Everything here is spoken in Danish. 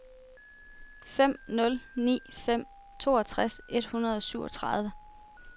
fem nul ni fem toogtres et hundrede og syvogtredive